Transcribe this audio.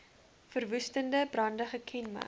verwoestende brande gekenmerk